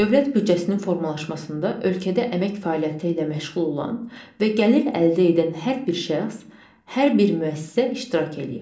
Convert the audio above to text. Dövlət büdcəsinin formalaşmasında ölkədə əmək fəaliyyəti ilə məşğul olan və gəlir əldə edən hər bir şəxs, hər bir müəssisə iştirak eləyir.